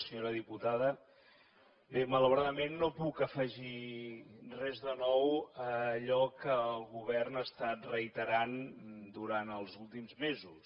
senyora diputada bé malauradament no puc afegir res de nou a allò que el govern ha estat reiterant durant els últims mesos